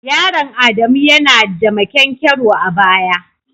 Yaron adamu ya na da maƙyankyaro a baya.